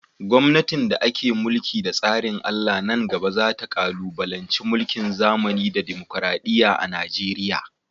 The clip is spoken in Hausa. gomnatin da ake mulki da tsarin Allah nan gaba za ta kalubalanci mulkin zamani da dimokuradiyya a Najeriya.